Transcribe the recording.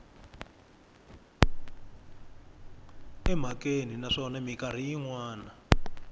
emhakeni naswona mikarhi yin wana